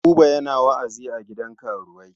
Buba yana wa'azi a gidan karuwai.